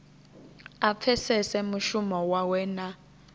a pfesese mushumo wawe na